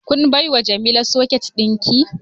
Kun baiwa jamila socket dinki?